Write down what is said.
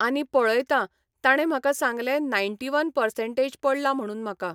आनी पळयता ताणें म्हाका सांगलें नायण्टी वन पसंर्टेज पडला म्हणून म्हाका.